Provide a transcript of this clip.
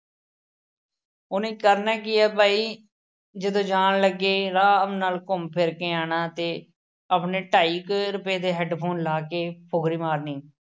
ਉਹਨੇ ਕਰਨਾ ਕੀ ਐ ਭਾਈ, ਜਦੋਂ ਜਾਣ ਲੱਗੇ ਆਰਾਮ ਨਾਲ ਘੁੰਮ ਫਿਰ ਕੇ ਆਉਣਾ ਤੇ ਆਪਣੇ ਢਾਈ ਕੁ ਰੁਪਏ ਦੇ headphone ਲਾ ਕੇ ਫੁਕਰੀ ਮਾਰਨੀ।